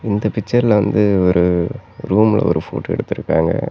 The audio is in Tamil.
இந்த பிக்சர்ல வந்து ஒரு ரூம்ல ஒரு போட்டோ எடுத்துருக்காங்க.